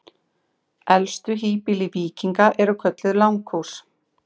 Elstu híbýli víkinga eru kölluð langhús.